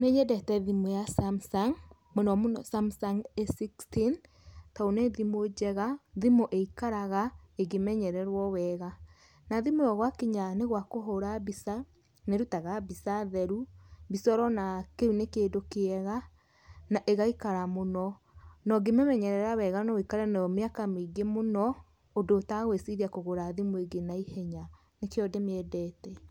Nĩ nyendete mũno thimũ ya Samsung mũno mũno Samsung A16, tondũ nĩ thimũ njega thimũ ĩikaraga ĩngĩmenyererwo wega, na thimũ ĩyo gwakinya nĩ gwakũhũra mbica nĩ ĩrutaga mbica theru, mbica ũrona kĩu nĩ kĩndũ kĩega na ĩgaikara mũno na ũngĩmĩmenyerera no wũikare nayo mĩaka mĩingĩ mũno ũndũ ũtegwĩciria kũgũra thimũ ĩngĩ na ihenya nĩkĩo ndĩmĩendete.